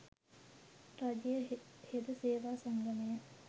රජයේ හෙද සේවා සංගමය,